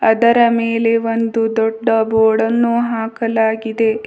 ಅದರ ಮೇಲೆ ಒಂದು ದೊಡ್ಡ ಬೋರ್ಡ ಅನ್ನು ಹಾಕಲಾಗಿದೆ.